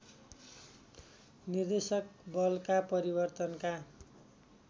निर्देशक बलका परिवर्तनका